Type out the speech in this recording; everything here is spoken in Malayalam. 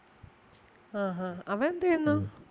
ആ ഹാ അവൻ എന്ത് ചെയ്യുന്നു?